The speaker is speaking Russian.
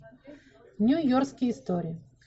нью йоркские истории